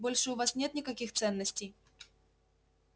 больше у вас нет никаких ценностей